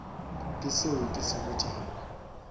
ke seo ke se botšago